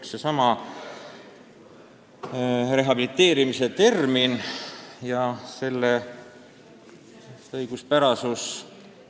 Seesama rehabiliteerimise termin ja selle õiguspärasus.